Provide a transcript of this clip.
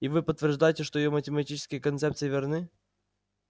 и вы подтверждаете что его математические концепции верны